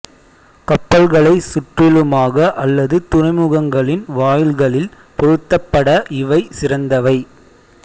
கப்பல்களைச் சுற்றிலுமாக அல்லது துறைமுகங்களின் வாயில்களில் பொருத்தப்பட இவை சிறந்தவை